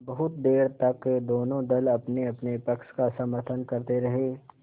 बहुत देर तक दोनों दल अपनेअपने पक्ष का समर्थन करते रहे